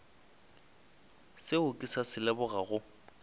seo ke sa se lebogago